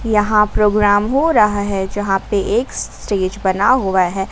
यहां प्रोग्राम हो रहा है जहां पे एक स्टेज बना हुआ है।